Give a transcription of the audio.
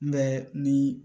N bɛ ni